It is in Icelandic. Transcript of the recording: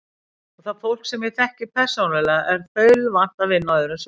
Og það fólk, sem ég þekki persónulega, er þaulvant að vinna á öðrum sviðum.